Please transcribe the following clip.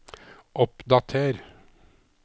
oppdater